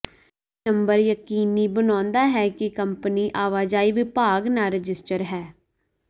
ਇਹ ਨੰਬਰ ਯਕੀਨੀ ਬਣਾਉਂਦਾ ਹੈ ਕਿ ਕੰਪਨੀ ਆਵਾਜਾਈ ਵਿਭਾਗ ਨਾਲ ਰਜਿਸਟਰ ਹੈ